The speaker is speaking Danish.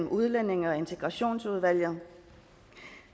udlændinge og integrationsudvalget